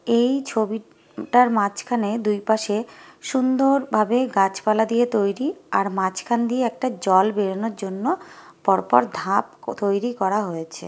এই ছবি রাট মাঝখানে দুই পাশে সুন্দরভাবে গাছপালা দিয়ে তৈরিআর মাঝখান দিয়ে একটা জল বেরোনোর জন্যপরপর ধাপ ও তৈরি করা হয়েছে ।